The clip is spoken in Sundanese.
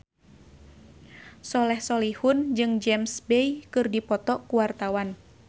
Soleh Solihun jeung James Bay keur dipoto ku wartawan